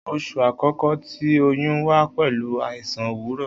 Oṣu akọkọ ti oyun wa pẹlu aisan owurọ.